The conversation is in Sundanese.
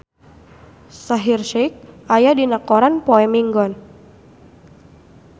Shaheer Sheikh aya dina koran poe Minggon